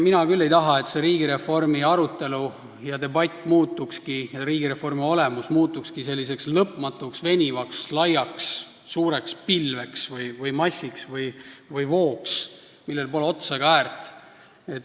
Mina küll ei taha, et see riigireformi arutelu ja olemus muutukski selliseks lõpmatuks, venivaks, laiaks, suureks pilveks või massiks või vooks, millel pole otsa ega äärt.